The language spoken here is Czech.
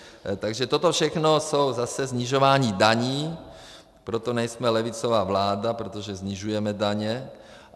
Takže toto všechno jsou zase snižování daní, proto nejsme levicová vláda, protože snižujeme daně.